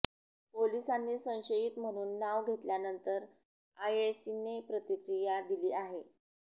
पोलिसांनी संशयित म्हणून नाव घेतल्यानंतर आएशीने प्रतिक्रिया दिली आहे